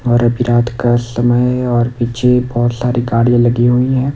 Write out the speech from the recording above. और अभी रात का समय है और पीछे बोहोत सारी गाड़िया लगी हुईं हैं।